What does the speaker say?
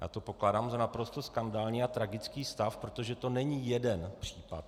Já to pokládám za naprosto skandální a tragický stav, protože to není jeden případ.